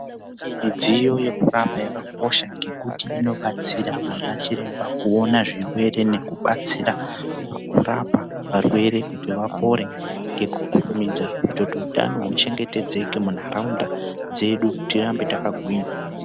Midziyo yekurapa yakakosha ngekuti inobatsira vana chiremba kuona zvirwere nekubatsira kurapa varwere kuti vapore ngekukurumidza kuitira kuti hutano huchengetedzeke munharaunda dzedu tirambe takagwinya.